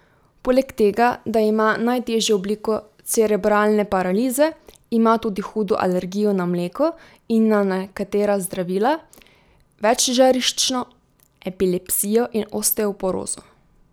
Poleg tega, da ima najtežjo obliko cerebralne paralize, ima tudi hudo alergijo na mleko in na nekatera zdravila, večžariščno epilepsijo in osteoporozo.